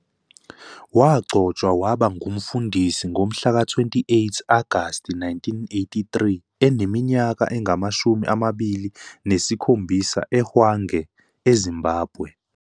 Wagcotshwa waba ngumfundisi ngomhlaka 28 Agasti 1983 eneminyaka engamashumi amabili nesikhombisa eHwange, eZimbabwe.